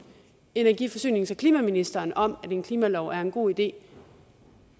energi forsynings og klimaministeren om at en klimalov er en god idé